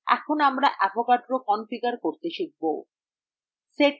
এখন আমরা avogadro configure করতে শিখব